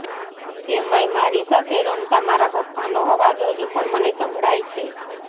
તેમાંય મારી સાથે રમતાં મારા પપ્પાનો અવાજ હજુ પણ મને સંભળાય છે